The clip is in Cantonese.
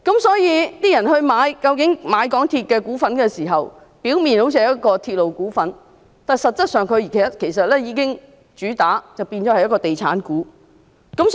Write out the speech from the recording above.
所以，當市民購買港鐵公司的股份時，好像是購買鐵路股份，但它們實質上也是地產股。